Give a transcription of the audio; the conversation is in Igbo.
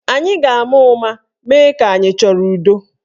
Anyị ga-ama ụma mee ka anyị achọrọ udo.